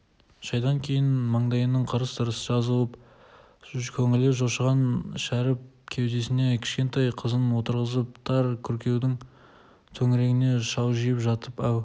шайдан кейін мандайының қырыс-тырысы жазылып көңілі жошыған шәріп кеудесіне кішкентай қызын отырғызып тар күркенің төрінде шалжиып жатып әу